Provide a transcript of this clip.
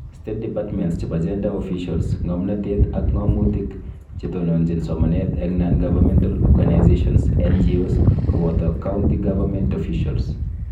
State departments chebo gender officials ,ng'omnotet, ak ng'omutik chetononjin somanet eng Non Governmental Organisations(NGOs) koboto County Government Officials